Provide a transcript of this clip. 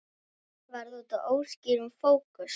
Var það útaf óskýrum fókus?